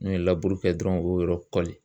N'u ye laburu kɛ dɔrɔn u b'o yɔrɔ kɔli.